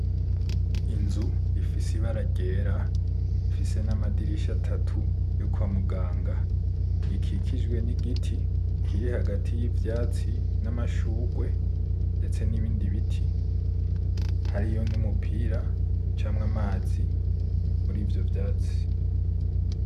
Inzu , ifise ibara ryera ifise namadirisha atatu yo kwa muganga , akikijwe nigiti kiri hagari yivyatsi n'amashurwe ndetse nibindi biti hariyo n'umupira ucamwo amazi muri ivyo vyatsi .